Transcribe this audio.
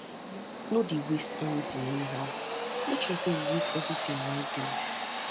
um no um dey waste anytin anyhow mek sure sey yu use evritin wisely